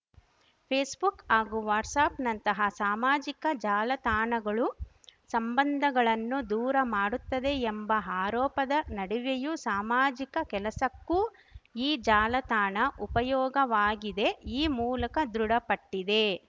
Facebook ಹಾಗೂ ವಾಟ್ಸಪ್‌ನಂತಹ ಸಾಮಾಜಿಕ ಜಾಲತಾಣಗಳು ಸಂಬಂಧಗಳನ್ನು ದೂರ ಮಾಡುತ್ತದೆ ಎಂಬ ಆರೋಪದ ನಡುವೆಯೂ ಸಾಮಾಜಿಕ ಕೆಲಸಕ್ಕೂ ಈ ಜಾಲತಾಣ ಉಪಯೋಗವಾಗಿದೆ ಈ ಮೂಲಕ ದೃಢಪಟ್ಟಿದೆ